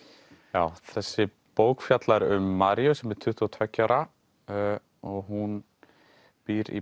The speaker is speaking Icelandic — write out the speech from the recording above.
já þessi bók fjallar um Maríu sem er tuttugu og tveggja ára og hún býr í